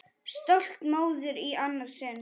Stolt móðir í annað sinn.